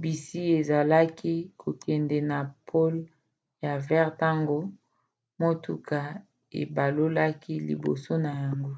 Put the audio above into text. bisi ezalaki kokende na pole ya vert ntango motuka ebalukaki liboso na yango